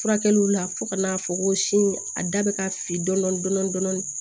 Furakɛliw la fo ka n'a fɔ ko sin a da bɛ ka fi dɔɔni dɔɔni dɔn